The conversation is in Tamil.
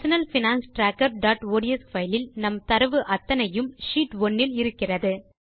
நம் personal finance trackerஒட்ஸ் பைல் இல் நம் தரவு அத்தனையும் ஷீட் 1 இல் இருக்கிறது